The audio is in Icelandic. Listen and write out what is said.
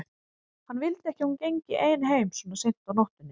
Hann vildi ekki að hún gengi ein heim svona seint á nóttunni.